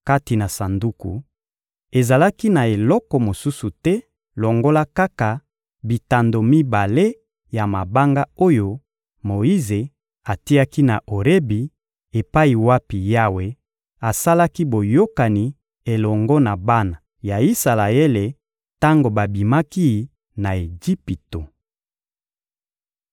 Kati na Sanduku, ezalaki na eloko mosusu te longola kaka bitando mibale ya mabanga oyo Moyize atiaki na Orebi epai wapi Yawe asalaki boyokani elongo na bana ya Isalaele tango babimaki na Ejipito.